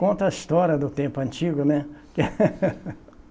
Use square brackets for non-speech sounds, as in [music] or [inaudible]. Conta a história do tempo antigo, né? [laughs]